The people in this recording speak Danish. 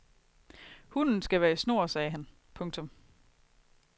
Hunden skal være i snor sagde han. punktum